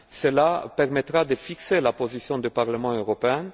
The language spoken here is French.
Cela permettra de fixer la position du Parlement européen.